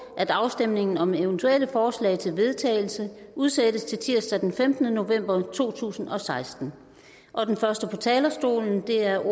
at afstemningen om eventuelle forslag til vedtagelse udsættes til tirsdag den femtende november to tusind og seksten den første på talerstolen er